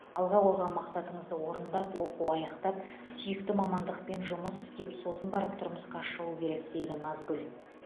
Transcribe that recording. алға қойған мақсатыңызды орындап оқу аяқтап сүйікті мамандықпен жұмыс істеп сосын барып тұрмысқа шығу керек дейді назгүл